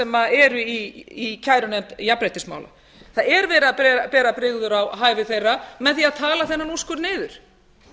hæfi þeirra sem eru í kærunefnd jafnréttismála það er verið að bera brigður á hæfi þeirra með því að tala þennan úrskurð niður